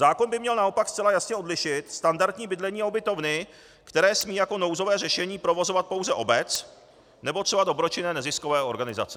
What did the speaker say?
Zákon by měl naopak zcela jasně odlišit standardní bydlení a ubytovny, které smí jako nouzové řešení provozovat pouze obec nebo třeba dobročinné neziskové organizace.